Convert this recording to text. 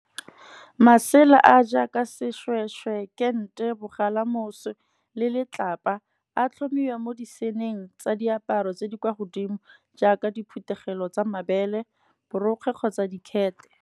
Masela a jaaka seshweshwe kente mogalamoso le letlapa, a tlhomiwa mo di seenneng tsa diaparo tse di kwa godimo, jaaka diphuthegelo tsa mabele, borokgwe kgotsa dikhete.